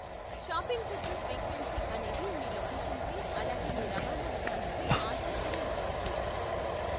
Shopping ట్రిప్ల frequency అనేది మీ లొకేషన్పై, అలాగే మీ రవాణా విధానంపై ఆధారపడి ఉండవచ్చు.